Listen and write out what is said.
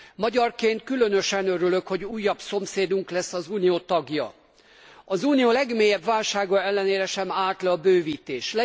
Magyarként különösen örülök, hogy újabb szomszédunk lesz az Unió tagja. Az unió legmélyebb válsága ellenére sem állt le a bővítés.